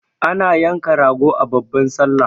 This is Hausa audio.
Ana yanka rago a babban sallah